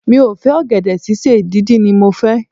Mi ò fẹ́ ọ̀gẹ̀dẹ̀ sísè, díndín ni mo fẹ́.